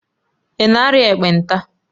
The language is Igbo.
Ị na-arịa ekpenta?